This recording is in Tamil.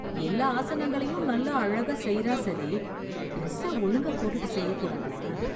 எல்லா ஆசனங்களையும் நல்லா அழகா செய்றா சரி... ட்ரெஸ்ஸ ஒழுங்கா போட்டுட்டு செய்யக்கூடாதா...